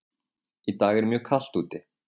Í dag er mjög kalt úti.